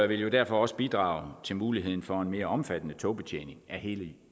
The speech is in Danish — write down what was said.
vil derfor også bidrage til muligheden for en mere omfattende togbetjening af hele